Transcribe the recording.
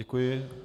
Děkuji.